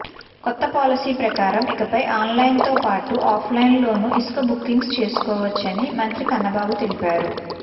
కొత్త పాలసీ ప్రకారం ఇకపై ఆన్లైన్తోపాటు ఆఫ్లైన్లోనూ ఇసుక బుకింగ్స్ చేసుకోవచ్చని మంత్రి కన్నబాబు తెలిపారు